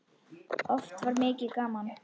Oft var mikið gaman.